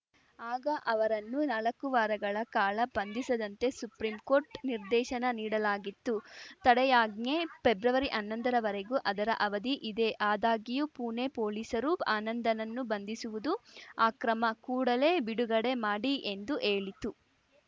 ಆಗ ಅವರನ್ನು ನಾಲಕ್ಕು ವಾರಗಳ ಕಾಳ ಬಂಧಿಸದಂತೆ ಸುಪ್ರಿಂ ಕೋರ್ಟ್‌ ನಿರ್ದೇಶನ ನೀಡಲಾಗಿತ್ತು ತಡೆಯಾಜ್ಞೆ ಪೆಬ್ರವರಿಹನ್ನೊಂದರವರೆಗೆ ಅದರ ಅವಧಿ ಇದೆ ಆದಾಗ್ಯೂ ಪುಣೆ ಪೊಲೀಸರು ಆನಂದನ್ನು ಬಂಧಿಸುವುದು ಆಕ್ರಮ ಕೂಡಲೇ ಬಿಡುಗಡೆ ಮಾಡಿ ಎಂದು ಹೇಳಿತು